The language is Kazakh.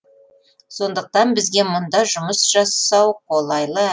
сондықтан бізге мұнда жұмыс жасау қолайлы